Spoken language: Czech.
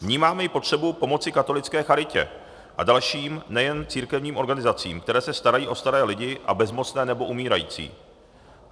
Vnímáme i potřebu pomoci katolické charitě a dalším, nejen církevním organizacím, které se starají o staré lidi a bezmocné nebo umírající.